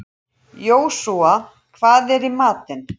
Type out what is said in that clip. Jósúa, hvað er í matinn?